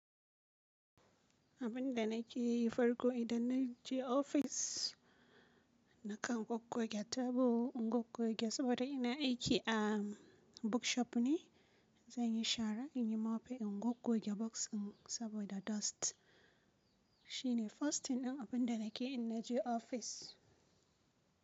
Abin da nake yi farko idan na je ofis na kan gogge tabo, in gogge saboda ina aiki a bookshop ne. Zan yi shara, in yi mofe, in gogge books saboda dust. Shine first thing dan abin da nake in naje ofis.